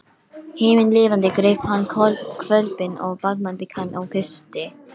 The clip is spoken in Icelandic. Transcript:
Himinlifandi greip hann hvolpinn og faðmaði hann og kyssti.